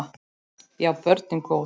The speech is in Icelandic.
Já, börnin góð.